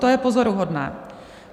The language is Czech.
To je pozoruhodné!